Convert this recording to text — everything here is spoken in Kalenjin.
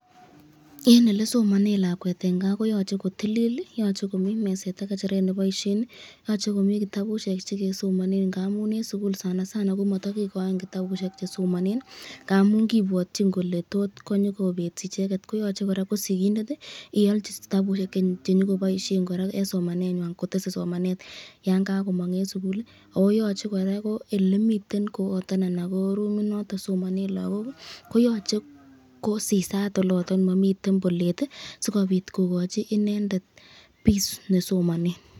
En elesomonen lakwet en kaa koyoche kotilil, yoche komii meset am ng'echeret neboishen, yoche komii kitabushek chekesomonen ng'amun en sukul sana sana komoto kikoin kitabushek che someone ng'amun kipwotyin kelee tot konyokobeet icheket koyoche kora ko sikindet iolchi kitabushek chenyokoboishen kora en somanenywan kotese somanet yoon kokomong en sukul ak koyoche kora ko elemiten koyoton anan ko rumit noton somonen lokok ko yoche ko sisaat oloton momiten bolet sikobiit kokochi inendet peace ne somonen.